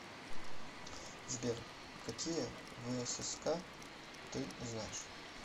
сбер какие всск ты знаешь